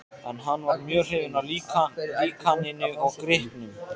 En hann var mjög hrifinn af líkaninu og gripnum.